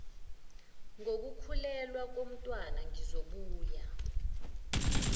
ngokukhulelwa komntwana ngizobuye